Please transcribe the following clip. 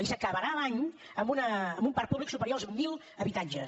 i s’acabarà l’any amb un parc públic superior als mil habitatges